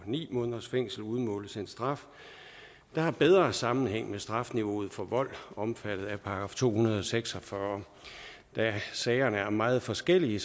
ni måneders fængsel udmåles en straf der har en bedre sammenhæng med strafniveauet for vold omfattet af straffelovens § to hundrede og seks og fyrre da sagerne er meget forskellige